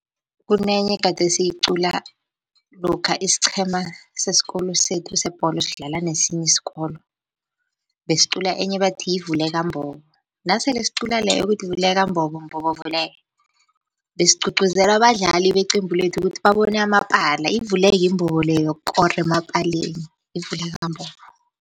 Kunenye gade siyiqula lokha isiqhema sesikolo sethu sebholo sidlala nesinye isikolo. Besiqula enye bathi yivuleka mbobo nasele siqula leyo kuthi vuleka mbobo, mbobo vuleka besigcugcuzela abadlali beqembu lethu kuthi babone amapala ivuleke imbobo leya yokukora emapaleni, ivuleka mbobo.